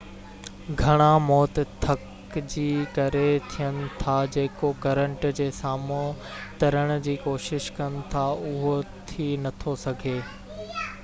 گهڻا موت ٿڪ جي ڪري ٿين ٿا جيڪو ڪرنٽ جي سامهون ترڻ جي ڪوشش ڪن ٿا اهو ٿي نٿو سگهي